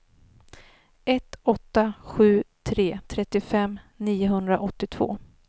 ett åtta sju tre trettiofem niohundraåttiotvå